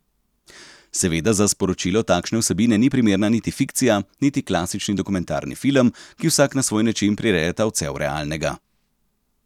Seveda za sporočilo takšne vsebine ni primerna niti fikcija niti klasični dokumentarni film, ki vsak na svoj način prirejata odsev realnega.